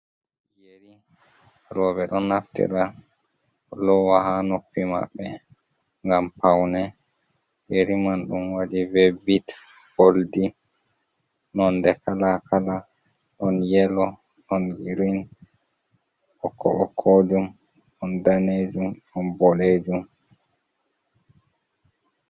Yeri roɓe ɗon naftira lowa ha noppi maɓbe gam paune yeri man dum wadi v bit boldi nonde kala kala ɗon yelo on yirin okko okko jum on danejum on boɗejum.